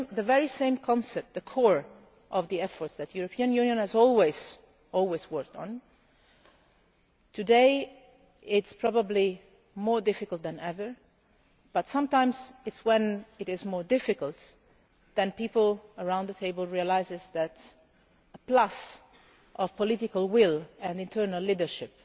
is the very same concept, the core of the efforts that the European Union has always worked on. Today it is probably more difficult than ever, but sometimes, when it is more difficult, people around the table realise that a plus of political will and internal leadership